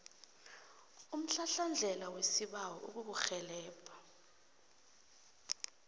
umhlahlandlela wesibawo ukukurhelebha